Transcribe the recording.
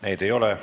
Neid ei ole.